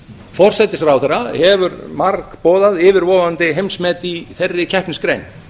forsætisráðherra hefur margboðað yfirvofandi heimsmet í þeirri keppnisgrein